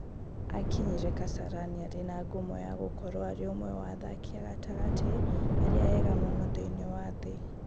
Akinyire Kasarani arĩ na ngumo ya gũkorũo arĩ ũmwe wa athaki a gatagatĩ arĩa ega mũno thĩinĩ wa thĩ.